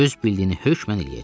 Öz bildiyini hökmən eləyəcək.